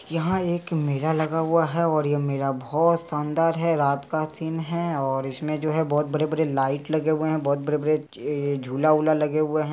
यहाँ एक मेला लगा हुआ है और ये मेला बहुत शानदार है| रात का सीन है और इसमें जो है बहुत बड़े-बड़े लाइट लगे हुए हैं बहुत बड़े-बड़े ये झूला लगे हुए हैं।